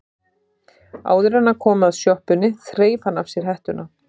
Áður en hann kom að sjoppunni þreif hann af sér hettuna.